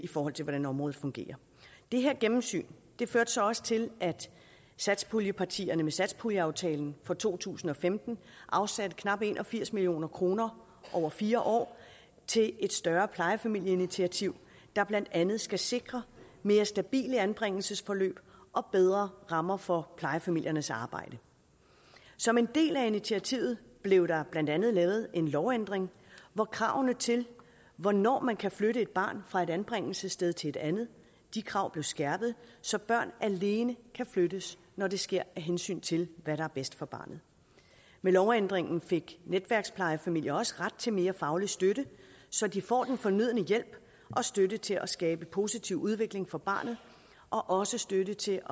hvordan området fungerer det her gennemsyn førte så også til at satspuljepartierne med satspuljeaftalen for to tusind og femten afsatte knap en og firs million kroner over fire år til et større plejefamilieinitiativ der blandt andet skal sikre mere stabile anbringelsesforløb og bedre rammer for plejefamiliernes arbejde som en del af initiativet blev der blandt andet lavet en lovændring hvor kravene til hvornår man kan flytte et barn fra et anbringelsessted til et andet blev skærpet så børn alene kan flyttes når det sker af hensyn til hvad der er bedst for barnet med lovændringen fik netværksplejefamilier også ret til mere faglig støtte så de får den fornødne hjælp og støtte til at skabe en positiv udvikling for barnet og også støtte til